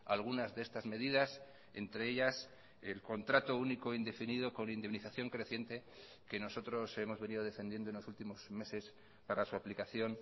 algunas de estas medidas entre ellas el contrato único indefinido con indemnización creciente que nosotros hemos venido defendiendo en los últimos meses para su aplicación